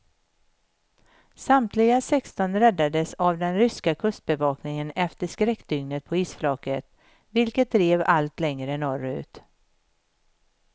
Samtliga sexton räddades av den ryska kustbevakningen efter skräckdygnet på isflaket, vilket drev allt längre norrut.